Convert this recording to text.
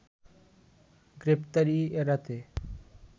গ্রেপ্তারি এড়াতে